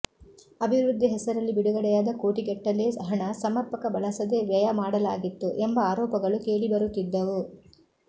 ಅಭಿವೃದ್ಧಿ ಹೆಸರಲ್ಲಿ ಬಿಡುಗಡೆಯಾದ ಕೋಟಿಗಟ್ಟಲೇ ಹಣ ಸಮರ್ಪಕ ಬಳಸದೇ ವ್ಯಯ ಮಾಡಲಾಗಿತ್ತು ಎಂಬ ಆರೋಪಗಳು ಕೇಳಿಬರುತ್ತಿದ್ದವು